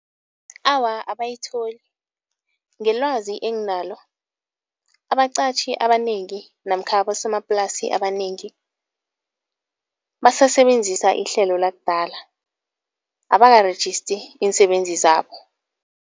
Awa abayitholi, ngelwazi enginalo abaqatjhi abanengi namkha abosomaplasi abanengi, basasebenzisa ihlelo lakudala, abakarejisti iinsebenzi zabo.